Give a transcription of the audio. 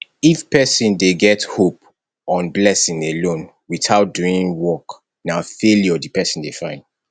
if person dey get hope on blessing alone without doing work na failure di person dey find